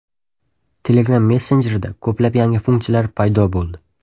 Telegram messenjerida ko‘plab yangi funksiyalar paydo bo‘ldi.